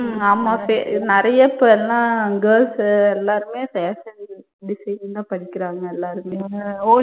உம் நிறைய இப்ப எல்லாம் girls உ எல்லாருமே fashion designing தன் படிக்கிறாங்க.